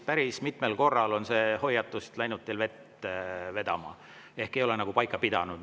Päris mitmel korral on see hoiatus läinud teil vett vedama ehk ei ole nagu paika pidanud.